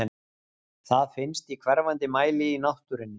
Það finnst í hverfandi mæli í náttúrunni.